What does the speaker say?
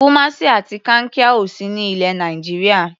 Kumasi àti Kankia ò sí ní ilẹ̀ Nàìjíríà.